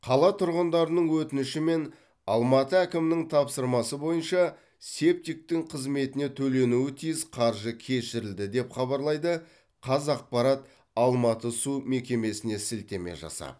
қала тұрғындарының өтініші мен алматы әкімінің тапсырмасы бойынша септиктің қызметіне төленуі тиіс қаржы кешірілді деп хабарлайды қазақпарат алматы су мекемесіне сілтеме жасап